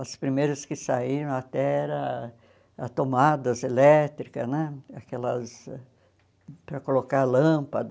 As primeiras que saíram até eram tomadas elétricas né, aquelas para colocar lâmpada.